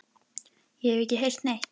Ég hef ekki heyrt neitt.